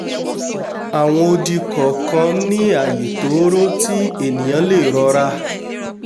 àwọn odi kọ̀ọ̀kan ní ààyè tóóró tí ènìà lè rọra